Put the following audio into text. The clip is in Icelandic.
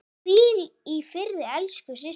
Hvíl í friði elsku systir.